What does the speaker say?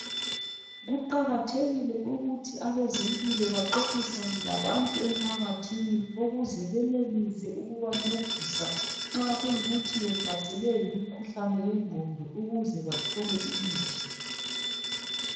Kuqakathekile ukuthi abezempilo baxoxisane labantu emphakathini ukuze benelise ukubancedisa nxa kuyikuthi behlaselwe yimikhuhlane yengqondo ukuze bathole imithi.